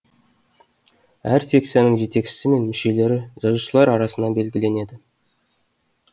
әр секцияның жетекшісі мен мүшелері жазушылар арасынан белгіленеді